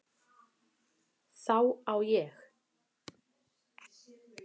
Þá á ég